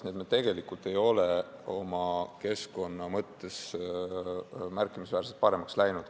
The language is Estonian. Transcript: Nii et me tegelikult ei ole keskkonna mõttes märkimisväärselt paremaks läinud.